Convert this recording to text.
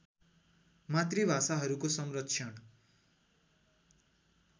मातृभाषाहरूको संरक्षण